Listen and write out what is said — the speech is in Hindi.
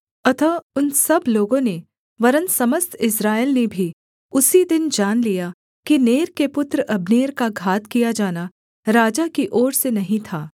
अतः उन सब लोगों ने वरन् समस्त इस्राएल ने भी उसी दिन जान लिया कि नेर के पुत्र अब्नेर का घात किया जाना राजा की ओर से नहीं था